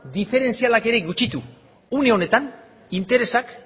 diferentzialak ere gutxitu une honetan interesak